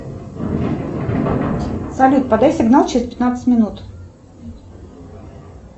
салют подай сигнал через пятнадцать минут